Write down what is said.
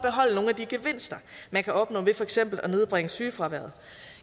at de gevinster man kan opnå ved for eksempel at nedbringe sygefraværet